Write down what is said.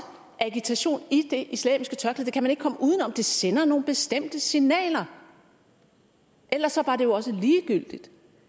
agitation i det islamiske tørklæde det kan man ikke komme uden om det sender nogle bestemte signaler ellers var det jo også ligegyldigt